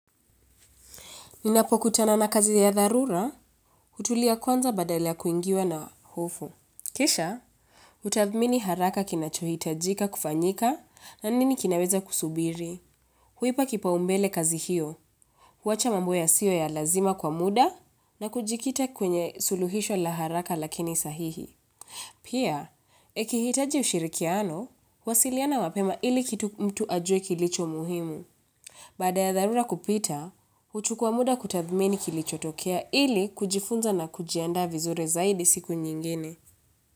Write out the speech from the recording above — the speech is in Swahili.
Ninapo kutana na kazi ya dharura, hutulia kwanza badala ya kuingiwa na hofu. Kisha, hutadhmini haraka kinachohitajika kufanyika na nini kinaweza kusubiri. Huipa kipaumbele kazi hiyo, huwacha mambo yasiyo ya lazima kwa muda na kujikita kwenye suluhisho la haraka lakini sahihi. Pia, ikihitaji ushirikiano, huwasiliana mapema ili kitu mtu ajue kilicho muhimu. Baada ya dharura kupita, huchukua muda kutadhmini kilichotokea ili kujifunza na kujianda vizuri zaidi siku nyingine.